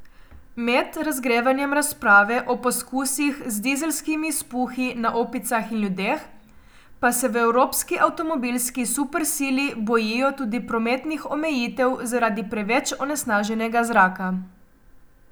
Med razgrevanjem razprave o poskusih z dizelskimi izpuhi na opicah in ljudeh pa se v evropski avtomobilski supersili bojijo tudi prometnih omejitev zaradi preveč onesnaženega zraka.